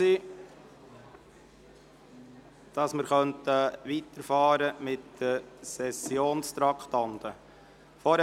Wir können mit den Sessionstraktanden weiterfahren.